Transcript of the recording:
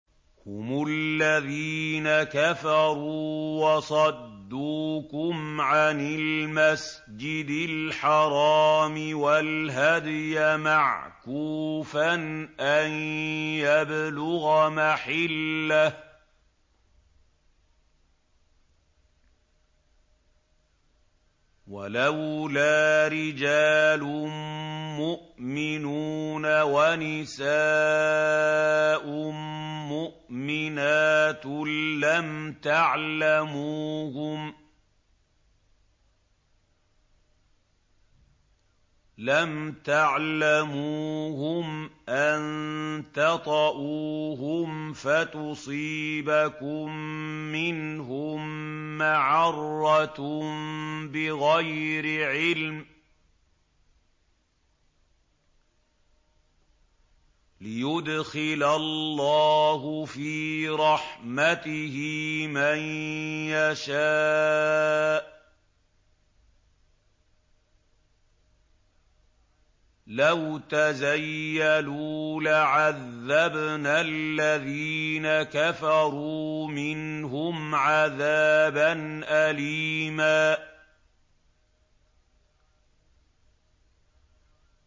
هُمُ الَّذِينَ كَفَرُوا وَصَدُّوكُمْ عَنِ الْمَسْجِدِ الْحَرَامِ وَالْهَدْيَ مَعْكُوفًا أَن يَبْلُغَ مَحِلَّهُ ۚ وَلَوْلَا رِجَالٌ مُّؤْمِنُونَ وَنِسَاءٌ مُّؤْمِنَاتٌ لَّمْ تَعْلَمُوهُمْ أَن تَطَئُوهُمْ فَتُصِيبَكُم مِّنْهُم مَّعَرَّةٌ بِغَيْرِ عِلْمٍ ۖ لِّيُدْخِلَ اللَّهُ فِي رَحْمَتِهِ مَن يَشَاءُ ۚ لَوْ تَزَيَّلُوا لَعَذَّبْنَا الَّذِينَ كَفَرُوا مِنْهُمْ عَذَابًا أَلِيمًا